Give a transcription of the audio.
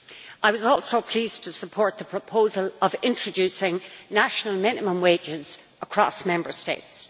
I was also pleased to support the proposal of introducing national minimum wages across Member States.